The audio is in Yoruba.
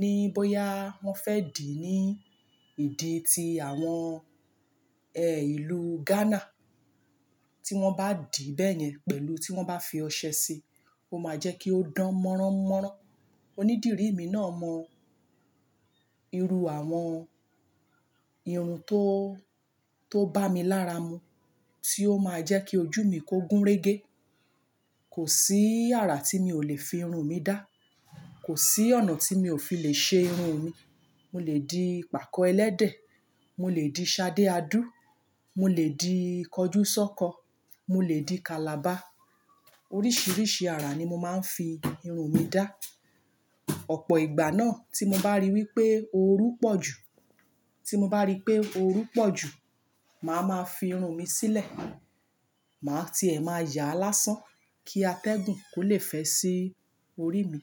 ní bóyá wọ́n fẹ́ dì í ní ìdí tí àwọn ẹ ìlú Ghana. Tí wọ́n bá dì bẹ́yẹn pẹ̀lú tí wọ́n bá fi ọṣẹ sí i, ó máa jẹ́ kí ó dán mọ́ranmọ́ran. Onídìrí mi náà mọ irú àwọn irun tó, tó bá mi lára mu tí ó máa jẹ́ kí ojú mi kó gúnrégé. Kòsí àrà tí mi ò lè fi irun mi dá. Kò sí ọ̀nà tí mi ò fi lè ṣe irun mi. Mo lè di pàkọ́ ẹlẹ́dẹ̀, mo lè di ṣadé adú, mo lè di kọjúsọ́kọ, mo lè di. Kalaba. Oríṣiríṣi ara ni mo máa ń fi irun mi dá. Ọ̀pọ̀ ìgbà náà tí mo bá rí wípé orú pọ̀ jù, tí mo bá rí pé orú pọ̀ jù, màá ma fi irun mi sílẹ̀. Màá tiẹ̀ máa yá lásán kí atẹ́gùn kó lè fẹ́ sí orí mi.